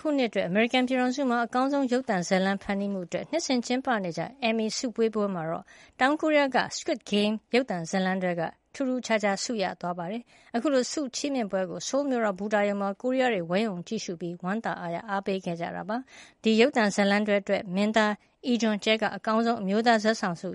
ခုနှစ်အတွက် အမေရိကန်ပြည်ထောင်စုမှာ အကောင်းဆုံး ရုပ်သံဇာတ်လမ်း ဖန်တီးမှုတွေအတွက် နှစ်စဉ်ကျင်းပနေကျ Emmy ဆုပေးပွဲမှာ တောင်ကိုရီးယားက 'Squid Game' ရုပ်သံဇာတ်လမ်းတွဲက ထူးထူးခြားခြား ဆုတွေ ရသွားပါတယ်။ အခုလို ဆုချီးမြှင့်ပွဲကို ဆိုးလ်မြို့တော် ဘူတာရုံမှာ ကိုရီးယားတွေ ဝိုင်းအုံကြည့်ရှုပြီး ဝမ်းသာအားရ အားပေးခဲ့ကြပါတယ်။ ဒီရုပ်သံဇာတ်လမ်းတွဲအတွက် မင်းသားအီဂျွန်ကြဲက အကောင်းဆုံး အမျိုးသားဇာတ်ဆောင်ဆု